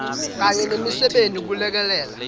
kanye nemisebenti kulekelela